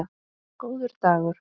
Góður dagur